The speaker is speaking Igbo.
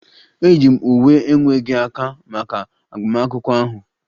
E yi m uwe na-enweghi aka maka agbamakwụkwọ ahụ